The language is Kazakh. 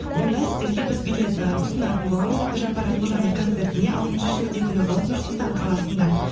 онда сіздерге біз билет ы ұсынатын боламыз әбдіжаппар әлқожаның концертіне алтыншы шілде күні болады нұр сұлтан қаласында